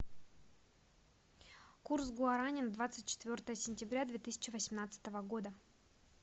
курс гуарани на двадцать четвертое сентября две тысячи восемнадцатого года